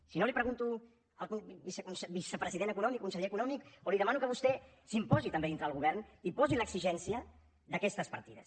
si no li ho pregunto al vicepresident econòmic conseller econòmic o li demano que vostè s’imposi també dintre del govern i posi l’exigència d’aquestes partides